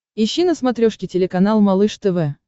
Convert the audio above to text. ищи на смотрешке телеканал малыш тв